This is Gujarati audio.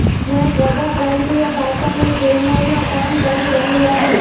જયા પ્રદા પ્રાંતીય ભાષાની ફિલમોમાં કામ કરી રહી હતી